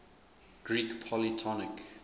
greek polytonic